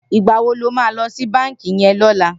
Nigbá wó ló mà lò si bànkí yèn lòlá?